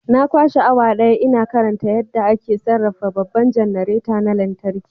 Na kwashe awa daya ina karanta littafin yadda ake sarrafa babban janareta na lantarki.